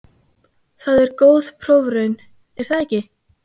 Það er góð prófraun, er það ekki?